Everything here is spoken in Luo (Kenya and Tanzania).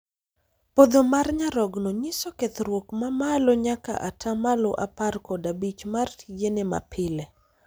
Podho mar nyarogno nyiso kethruok ma malo nyaka ataa malo apar kod abich mar tijene ma pile